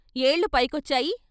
ఏళ్ళు పైకొచ్చాయి.